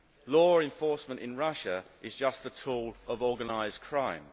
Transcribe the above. Law enforcement in Russia is just a tool of organised crime.